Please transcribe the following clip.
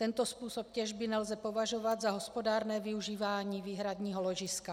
Tento způsob těžby nelze považovat za hospodárné využívání výhradního ložiska.